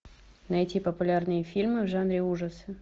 найти популярные фильмы в жанре ужасы